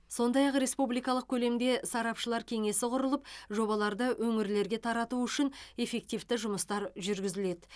сондай ақ республикалық көлемде сарапшылар кеңесі құрылып жобаларды өңірлерге тарату үшін эффективті жұмыстар жүргізіледі